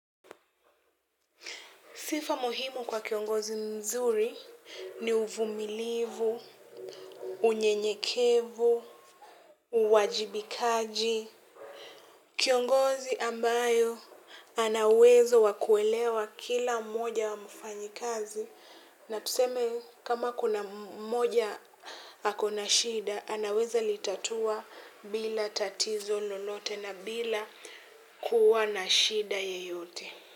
Sifa muhimu kwa kiongozi mzuri ni uvumilivu, unyenyekevu, uwajibikaji. Kiongozi ambayo ana uwezo wa kuelewa kila mmoja wa mfanyikazi na tuseme kama kuna mmoja ako na shida, anaweza litatua bila tatizo lolote na bila kuwa na shida yeyote.